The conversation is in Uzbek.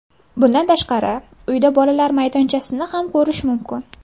Bundan tashqari uyda bolalar maydonchasini ham ko‘rish mumkin.